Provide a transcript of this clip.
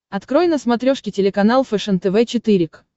открой на смотрешке телеканал фэшен тв четыре к